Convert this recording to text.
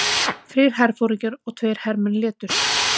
Þrír herforingjar og tveir hermenn létust